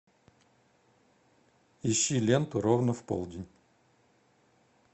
ищи ленту ровно в полдень